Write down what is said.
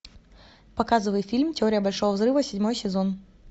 показывай фильм теория большого взрыва седьмой сезон